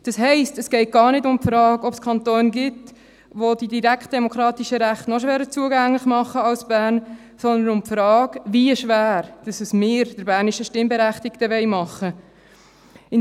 Das heisst, dass es gar nicht um die Frage geht, dass es Kantone gibt, welche die direktdemokratischen Rechte noch schwerer zugänglicher machen als Bern, sondern um die Frage, wie schwer wir es den Berner Stimmberechtigten machen wollen.